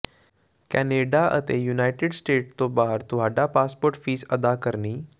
Canada ਅਤੇ United State ਤੋਂ ਬਾਹਰ ਤੁਹਾਡਾ ਪਾਸਪੋਰਟ ਫੀਸ ਅਦਾ ਕਰਨੀ